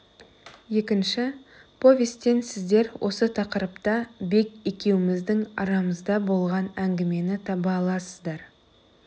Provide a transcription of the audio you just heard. екінші повестен сіздер осы тақырыпта бек екеуміздің арамызда болған әңгімені таба аласыздар